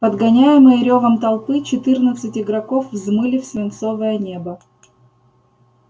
подгоняемые рёвом толпы четырнадцать игроков взмыли в свинцовое небо